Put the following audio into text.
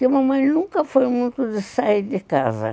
E mamãe nunca foi muito de sair de casa.